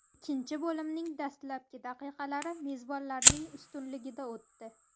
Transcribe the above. Ikkinchi bo‘limning dastlabki daqiqalari mezbonlarning ustunligida o‘tdi.